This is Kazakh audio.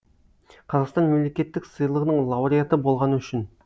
қазақстан мемлекеттік сыйлығының лауреаты болғаны үшін